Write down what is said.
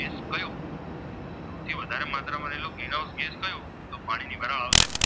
આવશે